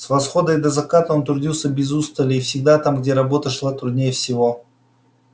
с восхода и до заката он трудился без устали и всегда там где работа шла труднее всего